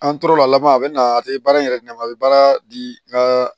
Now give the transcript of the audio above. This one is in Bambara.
An tora laban a bɛ na a tɛ baara in yɛrɛ ɲɛ a bɛ baara di n ka